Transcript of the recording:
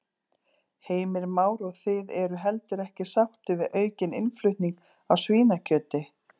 Heimir Már: Og þið eruð heldur ekki sáttir við aukinn innflutning á svínakjöti?